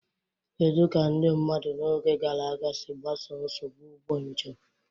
Kedu ka ndị mmadụ n'oge gara aga si gbasoo nsogbu ụgbọ njem?